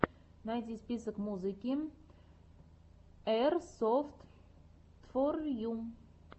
найди список музыки эйрсофтфорйу